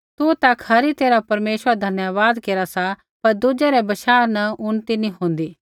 तु ता खरी तैरहा परमेश्वरा रा धन्यवाद केरा सा पर दुज़ै रै बशाह न उन्नति नी होन्दी